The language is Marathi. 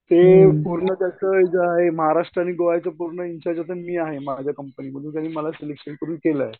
की पूर्ण त्याच महाराष्ट्र आणि गोवाचं पूर्ण इन्चार्ज आता मी आहे माझ्या कम्पनीमध्ये त्यांनी मला सिलेक्शन करून केलंय.